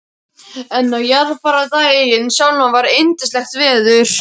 En á jarðarfarardaginn sjálfan var yndislegt veður.